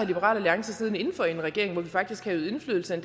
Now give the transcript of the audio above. liberal alliance siddende inden for i en regering hvor vi faktisk kan øve indflydelse end